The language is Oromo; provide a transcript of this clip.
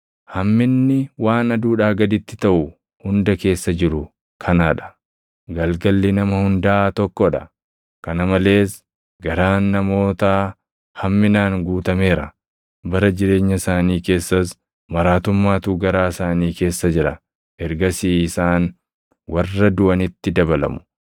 Hamminni waan aduudhaa gaditti taʼu hunda keessa jiru kanaa dha: Galgalli nama hundaa tokkoo dha. Kana malees garaan namootaa hamminaan guutameera; bara jireenya isaanii keessas maraatummaatu garaa isaanii keessa jira; ergasii isaan warra duʼanitti dabalamu.